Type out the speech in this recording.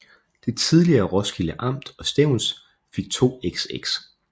Det tidligere Roskilde Amt og Stevns fik 2xx